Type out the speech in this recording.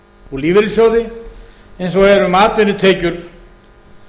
og lífeyrissjóði eins og er um atvinnutekjur